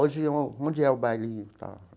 Hoje onde é o bailinho e tal?